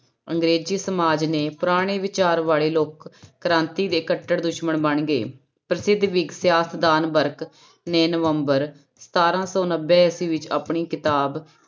ਅੰਗਰੇਜ਼ੀ ਸਮਾਜ ਨੇ ਪੁਰਾਣੇ ਵਿਚਾਰ ਵਾਲੇ ਲੋਕ ਕ੍ਰਾਂਤੀ ਦੇ ਕੱਟੜ ਦੁਸ਼ਮਣ ਬਣ ਗਏ ਪ੍ਰਸਿੱਧ ਵਰਗ ਨੇ ਨਵੰਬਰ ਸਤਾਰਾਂ ਸੌ ਨੱਬੇ ਈਸਵੀ ਵਿੱਚ ਆਪਣੀ ਕਿਤਾਬ